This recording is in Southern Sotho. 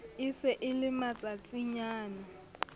e se e le matsatsinyana